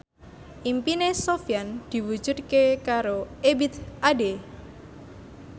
impine Sofyan diwujudke karo Ebith Ade